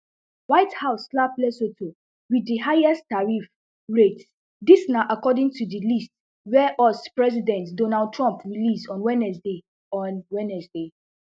white house slap lesotho wit di highest tariff rate dis na according to di list wey us president donald trump release on wednesday on wednesday